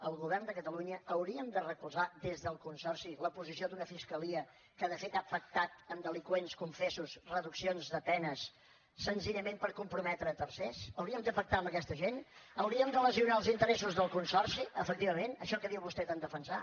el govern de catalunya hauríem de recolzar des del consorci la posició d’una fiscalia que de fet ha pactat amb delinqüents confessos reduccions de penes senzillament per comprometre tercers hauríem de pactar amb aquesta gent hauríem de lesionar els interessos del consorci efectivament això que diu vostè tant defensar